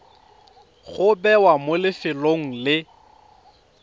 go bewa mo lefelong le